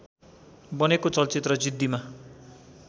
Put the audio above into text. बनेको चलचित्र जिद्दीमा